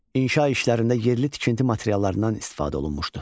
İnşa işlərində yerli tikinti materiallarından istifadə olunmuşdu.